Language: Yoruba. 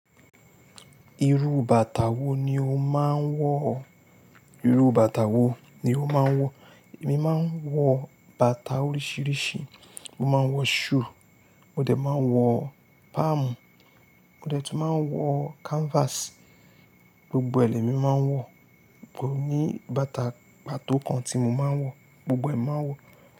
Irú bàtà wo ni o máa ń wọ̀? Irú bàtà wo ni o máa ń wọ̀? Èmi máa ń wọ bàtà oríṣìíríṣìí. Mo máa ń wọ shoe, mo dẹ̀ máa ń wọ palm, mo dẹ̀ tún máa ń wọ canvas. Gbogbo lẹ́mi máa ń wọ, kò ní bàtà pàtó kan tí mo máa ń wọ̀, gbogbo ẹ̀ máa ń wọ̀